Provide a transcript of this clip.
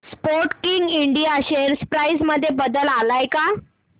Sportking India share price मध्ये बदल आलाय का